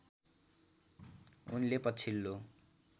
उनले पछिल्लो